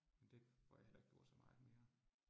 Men det får jeg heller ikke gjort så meget mere